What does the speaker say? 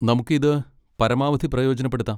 നമുക്ക് ഇത് പരമാവധി പ്രയോജനപ്പെടുത്താം.